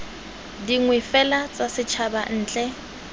dingwe fela tsa setshaba ntle